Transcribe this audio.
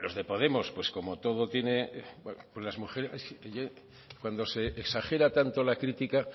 los de podemos cuando se exagera tanto la crítica